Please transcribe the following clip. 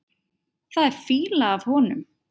Það er fýla af honum.